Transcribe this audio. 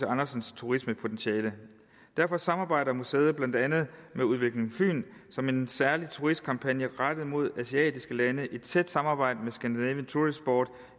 andersens turismepotentiale derfor samarbejder museet blandt andet med udvikling fyn om en særlig turistkampagne rettet mod asiatiske lande i et tæt samarbejde med scandinavian tourist board